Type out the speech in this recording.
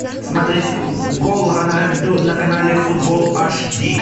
смотреть гол роналду на канале футбол аж ди